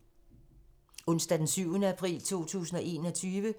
Onsdag d. 7. april 2021